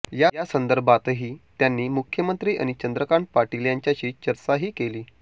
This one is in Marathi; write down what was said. यासंदर्भातही त्यांनी मुख्यमंत्री आणि चंद्रकांत पाटील यांच्याशी चर्चाही केली